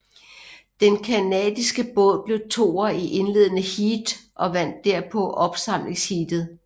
Den canadiske båd blev toer i indledende heat og vandt derpå opsamlingsheatet